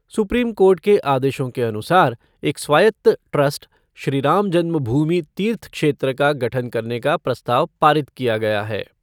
Supreme Court के आदेशों के अनुसार एक स्वायत्त ट्रस्ट श्री राम जन्मभूमि तीर्थ क्षेत्र का गठन करने का प्रस्ताव पारित किया गया है।